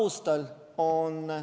Ja mis Kaja Kallas mulle vastas toona?